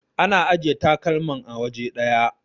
ana ajiya takalman a waje daya